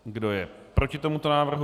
Kdo je proti tomuto návrhu?